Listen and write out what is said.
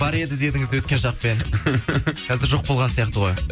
бар еді дедіңіз өткен шақпен қазір жоқ болған сияқты ғой